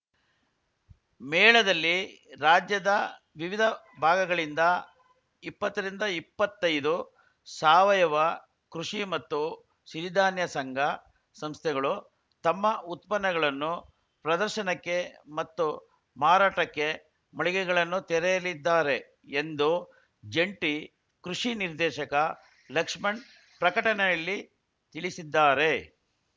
ಮೇಳದಲ್ಲಿ ರಾಜ್ಯದ ವಿವಿಧ ಭಾಗಗಳಿಂದ ಇಪ್ಪತ್ತ ರಿಂದ ಇಪ್ಪತೈದು ಸಾವಯವ ಕೃಷಿ ಮತ್ತು ಸಿರಿಧಾನ್ಯ ಸಂಘ ಸಂಸ್ಥೆಗಳು ತಮ್ಮ ಉತ್ಪನ್ನಗಳನ್ನು ಪ್ರದರ್ಶನಕ್ಕೆ ಮತ್ತು ಮಾರಾಟಕ್ಕೆ ಮಳಿಗೆಗಳನ್ನು ತೆರೆಯಲಿದ್ದಾರೆ ಎಂದು ಜಂಟಿ ಕೃಷಿ ನಿರ್ದೇಶಕ ಲಕ್ಷ್ಮಣ್‌ ಪ್ರಕಟಣೆಯಲ್ಲಿ ತಿಳಿಸಿದ್ದಾರೆ